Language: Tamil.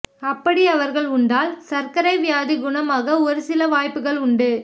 அப்படி அவர்கள் உண்டால் சர்க்கரை வியாதி குணமாக ஒரு சில வாய்ப்புகள் உண்டு